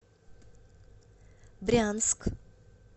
брянск